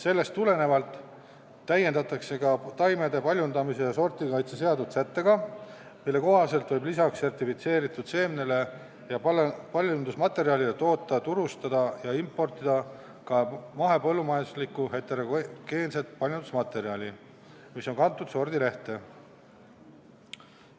Sellest tulenevalt täiendatakse ka taimede paljundamise ja sordikaitse seadust sättega, mille kohaselt võib lisaks sertifitseeritud seemnele ja paljundusmaterjalile toota, turustada ja importida ka mahepõllumajanduslikku heterogeenset paljundusmaterjali, mis on kantud sordilehte.